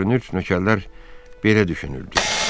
Görünür, nökərlər belə düşünürdülər.